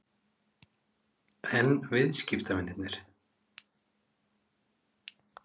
En viðskiptavinirnir?